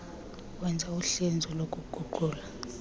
wenza uhlinzo lokuguqula